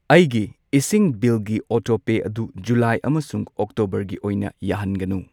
ꯑꯩꯒꯤ ꯏꯁꯤꯡ ꯕꯤꯜꯒꯤ ꯑꯣꯇꯣꯄꯦ ꯑꯗꯨ ꯖꯨꯂꯥꯏ ꯑꯃꯁꯨꯡ ꯑꯣꯛꯇꯣꯕꯔꯒꯤ ꯑꯣꯏꯅ ꯌꯥꯍꯟꯒꯅꯨ꯫